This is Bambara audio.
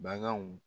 Baganw